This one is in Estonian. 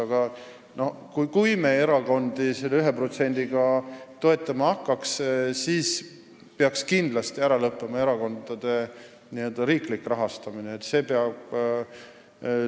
Aga kui me erakondi selle 1%-ga toetama hakkaks, siis peaks kindlasti erakondade riiklik rahastamine ära lõppema.